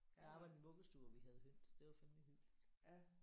Jeg arbejdede i en vuggestue hvor vi havde høns. Det var fandeme hyggeligt